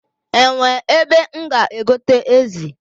Ewe ebe m ga egote ezi?